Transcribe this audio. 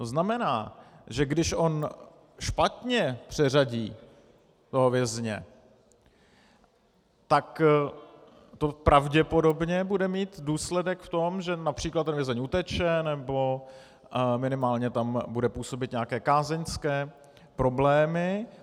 To znamená, že když on špatně přeřadí toho vězně, tak to pravděpodobně bude mít důsledek v tom, že například ten vězeň uteče nebo minimálně tam bude působit nějaké kázeňské problémy.